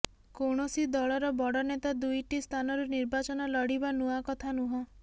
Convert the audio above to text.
କୌଣସି ଦଳର ବଡ଼ ନେତା ଦୁଇଟି ସ୍ଥାନରୁ ନିର୍ବାଚନ ଲଢିବା ନୂଆ କଥା ନୁହଁ